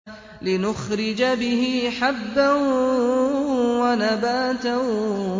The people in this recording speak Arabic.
لِّنُخْرِجَ بِهِ حَبًّا وَنَبَاتًا